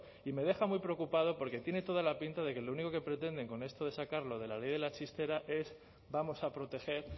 y me deja muy preocupado porque tiene toda la pinta de que lo único que pretenden con esto de sacar lo de la ley de la chistera es vamos a proteger